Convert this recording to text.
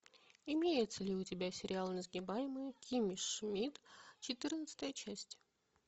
имеется ли у тебя сериал несгибаемая кимми шмидт четырнадцатая часть